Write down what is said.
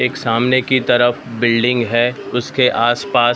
एक सामने की तरफ बिल्डिंग हैं उसके आसपास --